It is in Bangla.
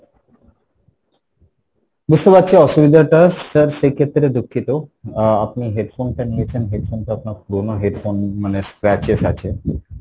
বুঝতে পারছি অসুবিধাটা sir সেক্ষেত্রে দুঃখিত, আহ আপনি headphone টা নিয়েছেন headphone টা আপনার পুরোনো headphone মানে scratches আছে,